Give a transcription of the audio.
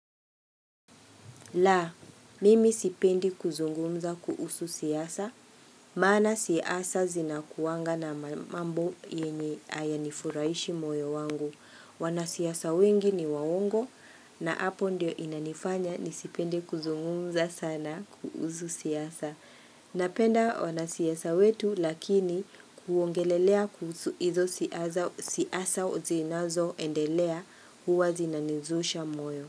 La, mimi sipendi kuzungumza kuhusu siasa, maana siasa zinakuwanga na mambo yenye haya nifurahishi moyo wangu. Wanasiasa wengi ni waongo na hapo ndio inanifanya nisipende kuzungumza sana kuhusu siasa. Napenda wanasiasa wetu lakini kuongelelea kuhusu hizo siasa zinazo endelea huwa zinaniuzusha moyo.